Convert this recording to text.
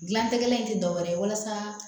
Gilan tɛgɛla in tɛ dɔwɛrɛ ye walasa